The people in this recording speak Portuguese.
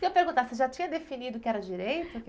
Queria perguntar, você já tinha definido que era direito?